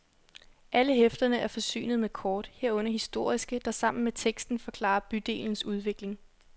Alle hæfterne er forsynet med kort, herunder historiske der sammen med teksten forklarer bydelens udvikling.